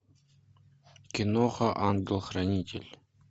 киноха ангел хранитель